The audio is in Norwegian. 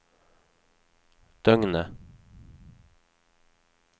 døgnet